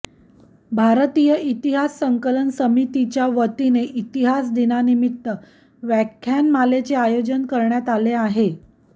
भारतीय इतिहास संकलन समितीच्यावतीने इतिहास दिनानिमित्त व्याख्यानमालेचे आयोजन करण्यात आले आहे